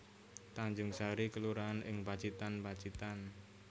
Tanjungsari kelurahan ing Pacitan Pacitan